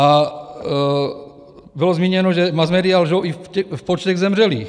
A bylo zmíněno, že masmédia lžou i v počtech zemřelých.